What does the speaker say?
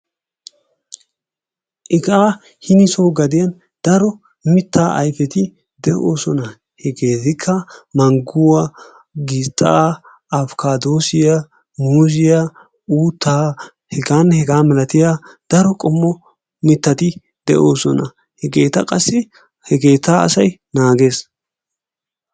Iqaa hinisoo gaden daro mittaa ayfeti de'oosona hegeetikka mangguwaa, gishxaa, afokaadoosiyaa, muuzziyaa uuttaa hegaanne hegaa malatiyaa daro qommo mittati de'oosona. hegeta qassi he keettaa asay naagees.